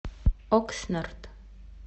окснард